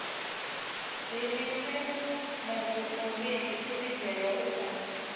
dzivhise muvhidzi tshivhidzelwa a sa